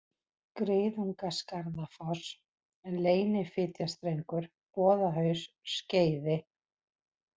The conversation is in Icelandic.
Griðungaskarðafoss, Leynifitjarstrengur, Boðahaus, Skeiði